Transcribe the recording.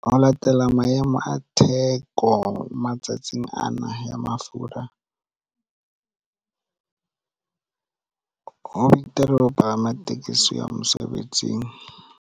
Ho latela maemo a theko matsatsing ana ya mafura ho betere ho palama tekesi ho ya mosebetsing.